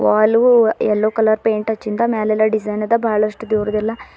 Vaalu yellow colour paint ಹಚ್ಚಿಂದ ಮ್ಯಾಲೆಲ್ಲ design ಅದ ಬಹಳಷ್ಟು ದೇವರದ್ದೆಲ್ಲ--